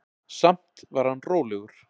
Samt var hann rólegur.